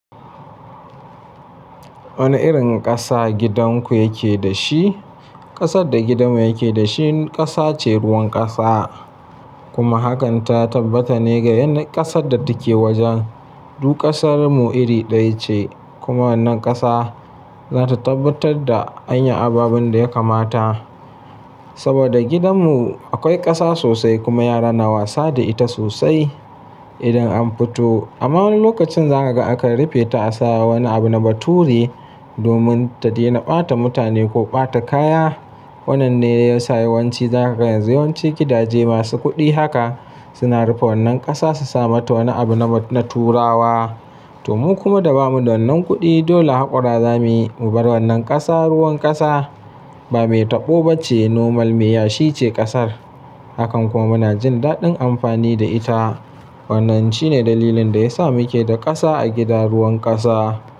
Wane irin ƙasa gidanku yake da shi? Ƙasar da gidanmu yake da shi ƙasa ce ruwan ƙasa, kuma hakan ta tabbata ne ga yan ƙasarda take wajen. Duk ƙasarmu iri ɗaya ce kuma wannan ƙasa za ta tabbatar da an yi ababen da ya kamata. Saboda gidanmu akwai ƙasa sosai kuma yara na wasa da ita sosai idan an fito. Amma wani lokacin za ka ga aka rufe ta a saya wani abu na baturi domin ta daina ɓata mutane ko ɓata kaya. Wannan ne ya sa yawanci za ka ga yawanci gidaje masu kuɗi haka suna rufe wannan ƙasa su sa mata wani abu na turawa. Domin kuma da ba mu da wannan kuɗi dole haƙora za mu yi mu bar wannan ƙasa ruwan ƙasa. Ba me taɓo ba ce nomal miya shi ce ƙasar. Hakan kuma na jin daɗin amfani da ita. Wannan shi ne dalilin da ya sa muke da ƙasa a gidan ruwan ƙasa.